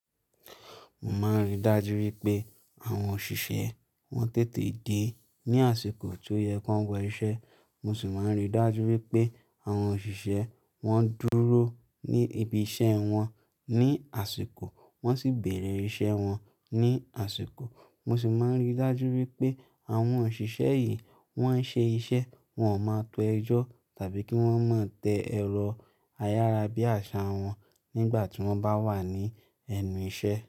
Mo máa ń ríi dájú wípé àwọn òṣìṣẹ́ wọn tètè dé ní àsìkò tí ó yẹ ki wọn wo iṣẹ́. Mo sì máa ń ríi dájú wípé àwọn òṣìṣẹ́ wọn dúró ní ibi iṣẹ́ wọn, ní àsìkò wọ́n sì bẹ̀rẹ̀ iṣẹ́ wọn ní àsìkò. Mo sì máa ń ríi dájú wípé àwọn òṣìṣẹ́ yìí wọ́n ń ṣe iṣẹ́, wọn ò máa tó ẹjọ́ tàbí kí wọ́n má tẹ ẹ̀rọ ayárabíàṣá wọn nígbà tí wọ́n bá wà ní ẹnu iṣẹ́